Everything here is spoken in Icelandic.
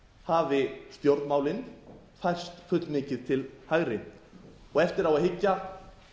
hafi stjórnmálin færst fullmikið til hægri og og eftir á að hyggja